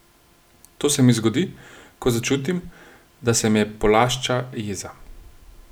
To se mi zgodi, ko začutim, da se me polašča jeza.